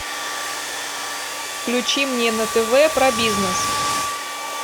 включи мне на тв про бизнес